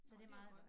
Så det meget godt